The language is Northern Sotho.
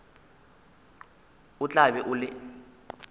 o tla be o le